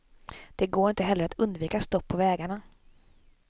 Det går inte heller att undvika stopp på vägarna.